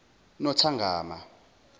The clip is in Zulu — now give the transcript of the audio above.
nothongama